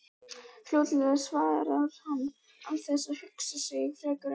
Fljótlega, svarar hann án þess að hugsa sig frekar um.